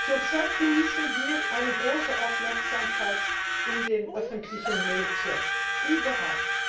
Zurzeit genießen wir eine große Aufmerksamkeit in den öffentlichen Medien überall.